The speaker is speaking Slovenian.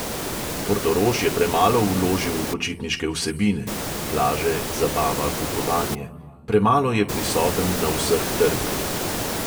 Portorož je premalo vložil v počitniške vsebine (plaže, zabava, kupovanje ...), premalo je prisoten na vseh trgih.